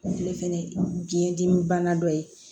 Ale fɛnɛ ye biyɛndimi bana dɔ ye